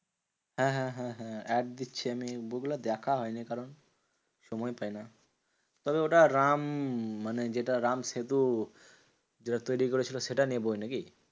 হ্যাঁ হ্যাঁ হ্যাঁ হ্যাঁ add দিচ্ছে আমি বইগুলো দেখা হয়নি, কারণ সময় পাইনা। তবে ওটা রাম মানে যেটা রামসেতু যেটা তৈরী করেছিল, সেটা নিয়ে বই নাকি?